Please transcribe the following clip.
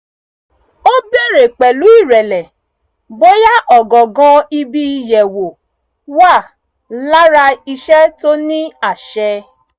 ó bèèrè pẹ̀lú ìrẹ̀lẹ̀ bóyá ọ̀gangan ibi ìyẹ̀wò wà lára iṣẹ́ tó ní àṣẹ